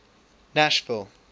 nashville